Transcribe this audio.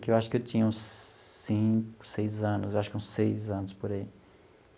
Que eu acho que eu tinha uns cinco, seis anos, acho que uns seis anos por aí.